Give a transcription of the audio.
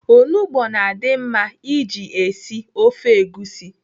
Onugbo na-adị mma iji esi ofe egusi.